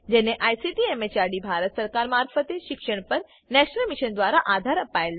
જેને ICT MHRD Bharat સરકાર મારફતે શિક્ષણ પર નેશનલ મિશન દ્વારા આધાર અપાયેલ છે